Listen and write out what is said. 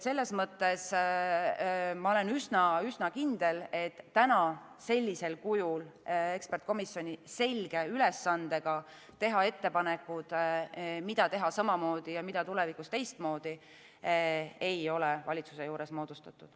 Selles mõttes ma olen üsna kindel, et täna sellisel kujul eksperdikomisjoni – selge ülesandega teha ettepanekuid, mida teha samamoodi ja mida tulevikus teistmoodi – ei ole valitsuse juures moodustatud.